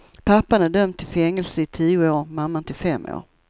Pappan är dömd till fängelse i tio år, mamman till fem år.